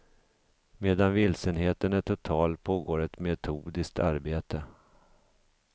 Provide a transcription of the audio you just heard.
Medan vilsenheten är total pågår ett metodiskt arbete.